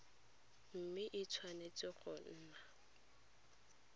mme e tshwanetse go nna